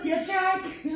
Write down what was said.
Jeg tør ikke